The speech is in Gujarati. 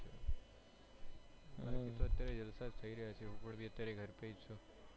બાકી તો અત્યારે તો જલસા થઇ રહ્યા છે હું પણ અત્યારે ઘર પર જ છુ.